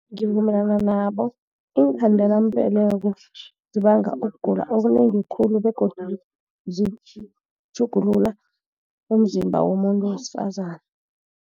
Ngivumelana nabo, iinkhandelambeleko zibanga ukugula okunengi khulu, begodu zitjhugulula umzimba womuntu wesifazana.